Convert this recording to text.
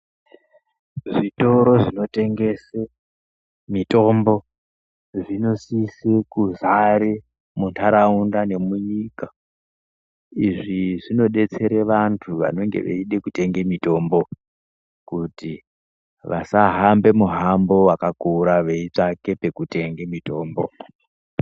Zvitoro zvinotengese mitombo zvinosise kuzare muntaraunda nemunyika. Izvi zvinodetsere vantu vanonge veide kutenge mitombo, kuti vasahambe muhambo wakakura veitsvake pekutenge mitombo.